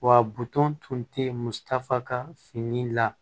Wa buton tun tɛ mutafa ka fini la